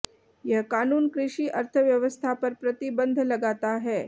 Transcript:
यह कानून कृषि अर्थव्यवस्था पर प्रतिबंध लगाता है